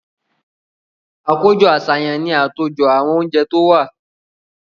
Àkójọ-àṣàyàn ni àtòjọ àwọn oúnjẹ tí ó wà.